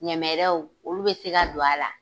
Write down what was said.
Ɲɛmɛrɛw, olu be se ka don a la.